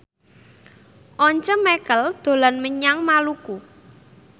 Once Mekel dolan menyang Maluku